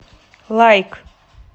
лайк